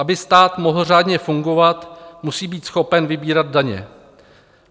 Aby stát mohl řádně fungovat, musí být schopen vybírat daně.